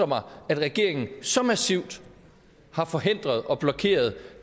mig at regeringen så massivt har forhindret og blokeret